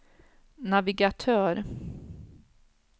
navigatör